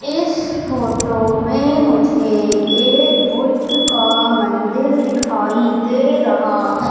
इस फोटो में मुझे एक बुद्ध का मंदिर दिखाई दे रहा हैं।